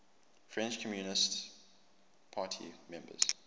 french communist party members